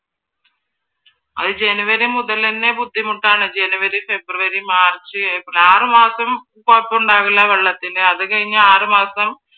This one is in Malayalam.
അത് january മുതലെന്നെ ബുദ്ധിമുട്ടാണ്. january, february, march, april ആറു മാസം കുഴപ്പമുണ്ടാവില്ല വെള്ളത്തിന് അത് കഴിഞ്ഞ് ആറു മാസം